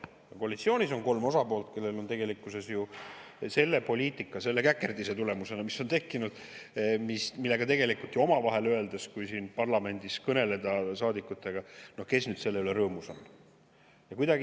Ka koalitsioonis on kolm osapoolt, ja omavahel öeldes, kui siin parlamendis kõneleda saadikutega, siis kes nüüd selle käkerdise üle, mis on tekkinud, ikka rõõmus on.